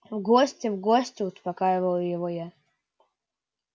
в гости в гости успокаиваю его я